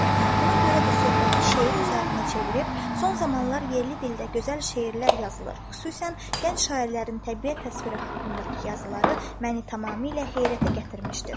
Buna görə də söhbəti şeir üzərinə çevirib, son zamanlar yerli dildə gözəl şeirlər yazılır, xüsusən gənc şairlərin təbiət təsviri haqqındakı yazıları məni tamamilə heyrətə gətirmişdir.